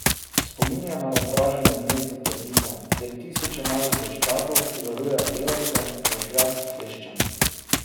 Spominja na razdraženo gnezdo termitov, kjer tisoče malih vojščakov, ki varujejo delavce, rožlja s kleščami.